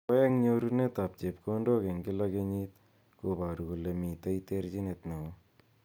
Ako eng nyorunet ab chepkondok eng kila kenyit ko baru kole mitei terchinet neo.